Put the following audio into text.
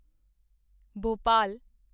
Bhopal